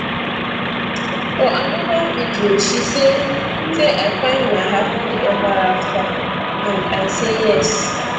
for anoda video she say say i find my happily eva afta and i say yes